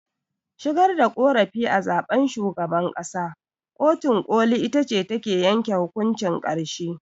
Shigar da ƙorafi a zaɓen shugaban ƙasa, kotun ƙolin itace take yanke hukuncin ƙarshe.